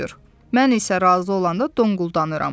Mən isə razı olanda donquldanıram.